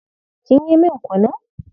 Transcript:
Kin yi min kunun?